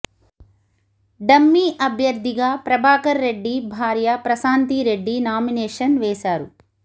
dummy అభ్యర్థిగా ప్రభాకర్ రెడ్డి భార్య Prashanti Reddy nomination వేశారు